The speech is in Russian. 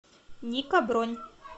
ника бронь